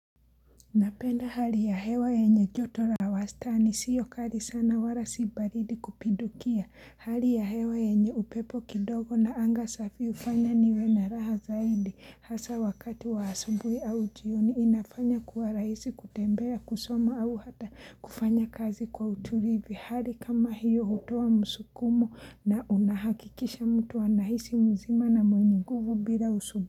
Napenda hali ya hewa yenye joto la wastani siyo kali sana walasibaridi kupidukia hali ya hewa enye upepo kidogo na anga safi hufanya niwe na raha zaidi hasa wakati waasubuhi au jioni inafanya kuwa raisi kutembea kusoma au hata kufanya kazi kwa utulivi hali kama hiyo hutoa musukumo na unahakikisha mtu wa anahisi mzima na mwenye nguvu bila usubu.